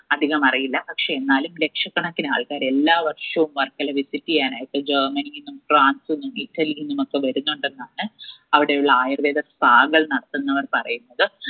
അധികം അറിയില്ല പക്ഷെ എന്നാലും ലക്ഷക്കണക്കിന് ആൾക്കാര് എല്ലാ വർഷവും വർക്കല visit എയ്യാനായിട്ട് ജര്മനിയിന്നും ഫ്രാൻസിന്നും ഇറ്റലിനുമൊക്കെ വരുന്നുണ്ടെന്നാണ് അവിടെയുള്ള ആയുർവേദ spa കൾ നടത്തുന്നവർ പറയുന്നത്